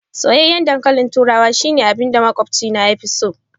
Soyayyen ɗankalin turawa shine abinda maƙwabci na fi so.